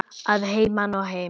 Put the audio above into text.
Að heiman og heim.